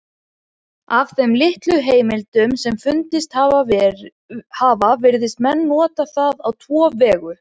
Af þeim litlu heimildum sem fundist hafa virðast menn nota það á tvo vegu.